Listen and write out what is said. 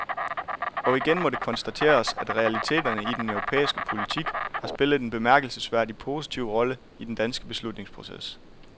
Og igen må det konstateres, at realiteterne i den europæiske politik har spillet en bemærkelsesværdig positiv rolle i den danske beslutningsproces.